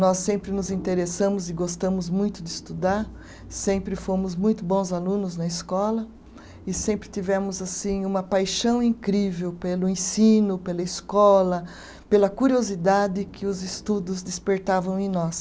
Nós sempre nos interessamos e gostamos muito de estudar, sempre fomos muito bons alunos na escola e sempre tivemos assim uma paixão incrível pelo ensino, pela escola, pela curiosidade que os estudos despertavam em nós.